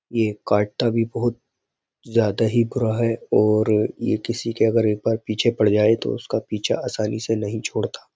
ये काटता भी बहुत ज़्यादा ही बुरा है और ये किसी के अगर एक बार पीछे पड़ जाए तो उसका पीछा आसानी से नहीं छोड़ता।